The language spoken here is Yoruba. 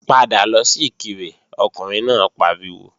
Padà lọ sí Ìkirè Ọkùnrin náà pariwo!